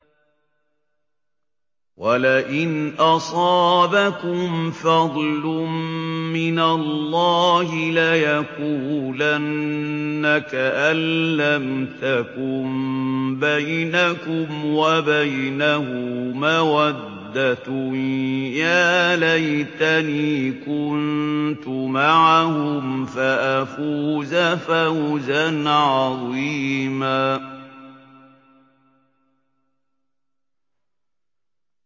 وَلَئِنْ أَصَابَكُمْ فَضْلٌ مِّنَ اللَّهِ لَيَقُولَنَّ كَأَن لَّمْ تَكُن بَيْنَكُمْ وَبَيْنَهُ مَوَدَّةٌ يَا لَيْتَنِي كُنتُ مَعَهُمْ فَأَفُوزَ فَوْزًا عَظِيمًا